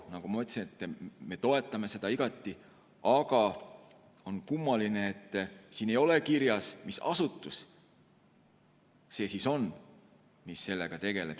Nagu ma ütlesin, me toetame seda igati, aga on kummaline, et siin ei ole kirjas, mis asutus see siis on, mis sellega tegeleb.